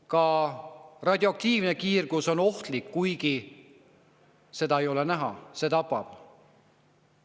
Ka radioaktiivne kiirgus on ohtlik, kuigi seda ei ole näha, ja see tapab.